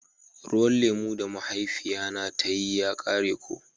Ruwan lemu da mahaifiya na ta yi ya kare ko.